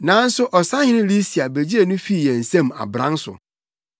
Nanso Ɔsahene Lisia begyee no fii yɛn nsam abran so,